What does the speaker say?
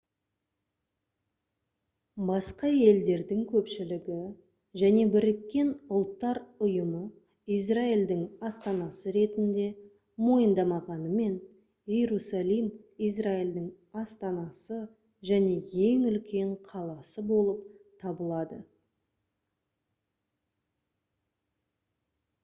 басқа елдердің көпшілігі және біріккен ұлттар ұйымы израильдің астанасы ретінде мойындамағанымен иерусалим израильдің астанасы және ең үлкен қаласы болып табылады